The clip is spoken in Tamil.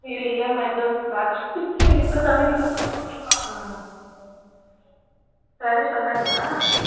ஐயோ இல்லம்மா இதோ bathroom போய்ட்டு இப்போ சமைக்கனும் ம் ராஜேஷ் வந்துட்டாங்களா